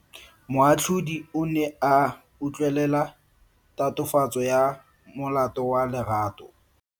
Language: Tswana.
Moatlhodi o ne a utlwelela tatofatso ya molato wa Lerato.